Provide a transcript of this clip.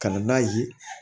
Ka na n'a ye